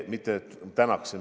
Mitte tänaksin.